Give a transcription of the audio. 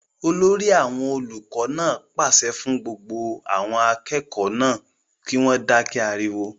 olórí àwọn olùkọ náà pàṣẹ fún àwọn akẹ́kọ̀ọ́ náà kí wọ́n dákẹ́ ariwo